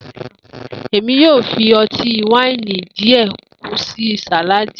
Emi yoo fi ọti-waini diẹ kun si saladi.